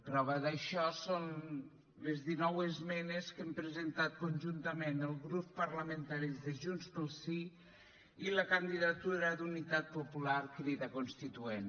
prova d’això són les dinou esmenes que hem presentat conjuntament els grups parlamentaris de junts pel sí i la candidatura d’unitat popular crida constituent